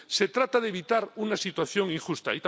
Se trata de evitar una situación injusta.